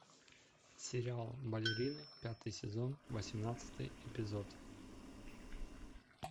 сериал балерины пятый сезон восемнадцатый эпизод